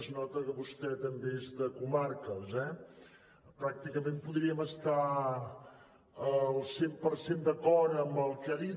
es nota que vostè també és de comarques eh pràcticament podríem estar al cent per cent d’acord amb el que ha dit